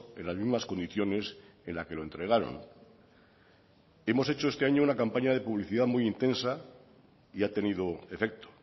en las mismas condiciones en la que lo entregaron hemos hecho este año una campaña de publicidad muy intensa y ha tenido efecto